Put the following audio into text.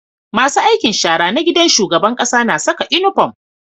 Masu aikin shara na gidan shugaban ƙasa na Saka inufom